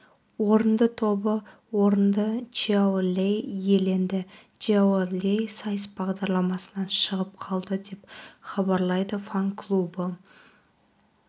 орынды тобы орынды чжао лэй иеленді чжао лэй сайыс бағдарламасынан шығып қалды деп хабарлайды фан-клубы